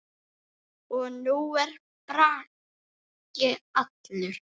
Og nú er Bragi allur.